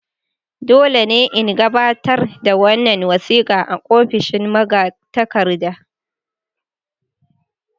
Dole ne in gabatar da wannan wasika a ofishin magatakarda.